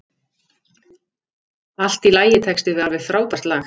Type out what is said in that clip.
Allt í lagitexti við alveg frábært lag.